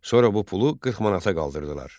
Sonra bu pulu 40 manata qaldırdılar.